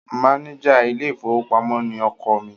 Máníjà ilé-ìfowópamọ́ ni ọkọ mi.